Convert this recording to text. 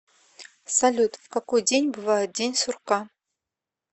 салют в какой день бывает день сурка